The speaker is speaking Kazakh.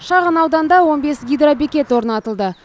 шағын ауданда он бес гидробекет орнатылды